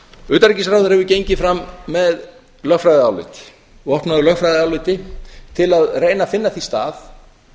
utanríkisráðherra hefur gengið fram með lögfræðiálit vopnaður lögfræðiáliti til að reyna að finna því stað